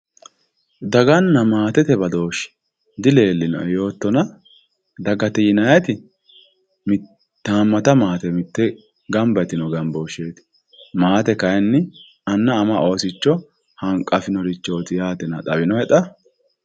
Daganna maatete badoshi dileelinoenna yoottonna dagate yinanniti hamata maate mitteenni gamba yitino gamboosheti, maate kayinni anna ama oosicho hanqafinorichotinna xawinohe xa.